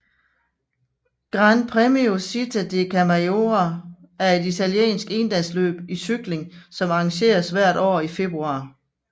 Gran Premio Città di Camaiore er et italiensk endagsløb i cykling som arrangeres hvert år i februar